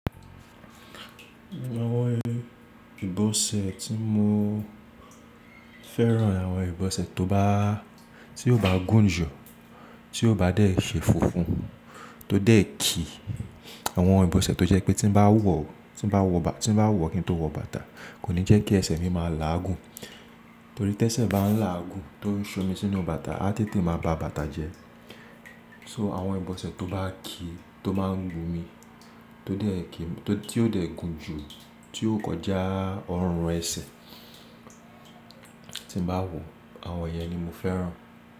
Nínú àwọn ìbọ̀sẹ̀ tí mo fẹ́ràn, àwọn ìbọ̀sẹ̀ tó bá, tí ó bá gúnju, tí ó bá déè ṣe funfun, tó déè ki. Àwọn ìbọ̀sẹ̀ tó jẹ́ pé tí bá wọ̀, tí bá wọ bà, tí bá wọ̀ kí n tó wọ bàtà kò ní jẹ́ kí ẹsẹ̀ mi máa láàgùn. Torí tẹ́sẹ̀ bá ń là á gùn tó ń ṣomi sínú bàtà, a tètè máa ba bàtà jẹ. So àwọn ìbọ̀sẹ̀ tó bá ki, tó máa ń gbo mi, tó déè ki, tó, tí ó déè gùn jù, tí ó kọjá ọrùn ẹsẹ̀ tí bá wọ̀, àwọn yẹn ni mo fẹ́ràn.